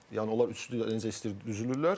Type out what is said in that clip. Yəni onlar üçlü necə istəyir düzülürlər.